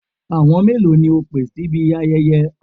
Àwọn mélòó ni o pè síbi ayẹyẹ?